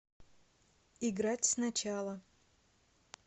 играть сначала